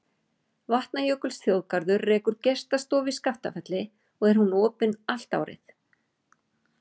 Vatnajökulsþjóðgarður rekur gestastofu í Skaftafelli og er hún opin allt árið.